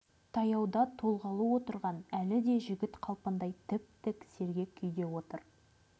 таяуда толғалы отырған әлі де жігіт қалпындай тіп-тік сергек күйде отыр